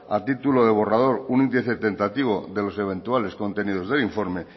a título de borrador un de los eventuales contenidos del informe